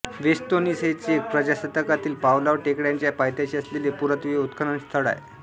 व्हेस्तोनीस हे चेक प्रजासत्ताकातील पावलॉव टेकड्यांच्या पायथ्याशी असलेले पुरातत्त्वीय उत्खनन स्थळ आहे